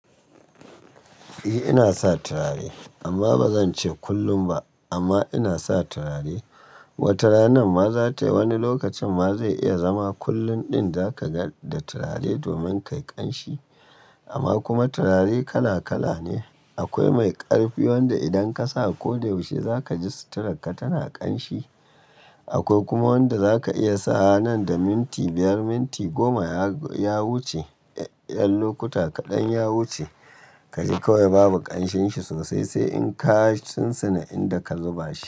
Eh ina sa turare amma ba zan ce kullum ba amma ina sa turare. Wata rana ma za ta yi wani lokacin ma zai iya zama kullum ɗin za ka ga da turare domin kai ƙanshi. Amma kuma turare kala kala ne. Akwai mai ƙarfi wanda idan ka sa ko yaushe za ka ji suturarka tana ƙanshi. Akwai kuma wanda za ka iya sa nan da minti biyar, minti goma ya wuce, ƴan lokuta kaɗan ya wuce ka ji kawai babu ƙanshinsa sosai sai in ka sin sina inda ka zuba shi.